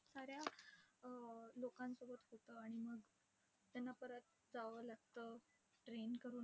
साऱ्या अं लोकांसोबत होतं, आणि मग त्यांना परत जावं लागतं train करून